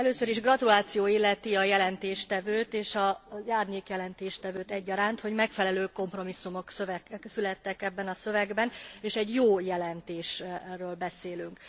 Először is gratuláció illeti a jelentéstevőt és az árnyék jelentéstevőt egyaránt, hogy megfelelő kompromisszumok születtek ebben a szövegben és egy jó jelentésről beszélünk.